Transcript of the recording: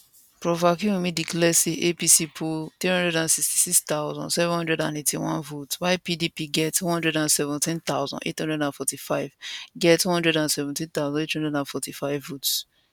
prof akinwunmi declare say apc poll 366781 votes while pdp get 117845 get 117845 votes